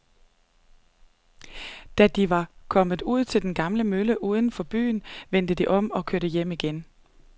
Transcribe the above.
Da de var kommet ud til den gamle mølle uden for byen, vendte de om og kørte hjem igen.